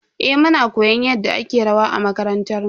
Eh, muna koyon yadda ake rawa a makarantar mu.